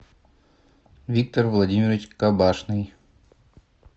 виктор владимирович кабашный